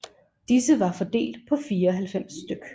Disse var fordelt på 94 stk